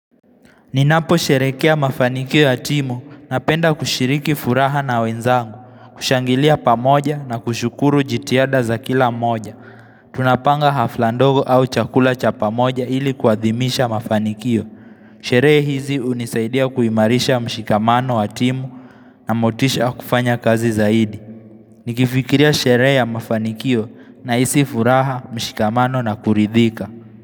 Ninaposherehekea mafanikio ya timu napenda kushiriki furaha na wenzangu, kushangilia pamoja na kushukuru jitihada za kila moja. Tunapanga hafla ndogo au chakula cha pamoja ili kuadhimisha mafanikio. Sherehe hizi hunisaidia kuimarisha mshikamano wa timu na motisha wa kufanya kazi zaidi. Nikifikiria sherehe ya mafanikio nahisi furaha, mshikamano na kuridhika.